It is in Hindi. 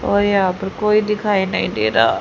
और यहां पर कोई दिखाई नहीं दे रहा--